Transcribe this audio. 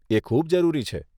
એ ખૂબ જરૂરી છે.